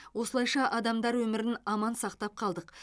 осылайша адамдар өмірін аман сақтап қалдық